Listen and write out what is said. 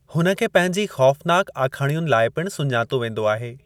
हुन खे पंहिंजी खौफनाक आखाणियुनि लाइ पिण सुञातो वेंदो आहे।